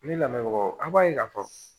Ne lamɛnbagaw an b'a ye k'a fɔ